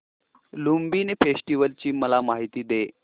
Lumbini festival ची मला माहिती दे